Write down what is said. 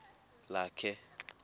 lakhe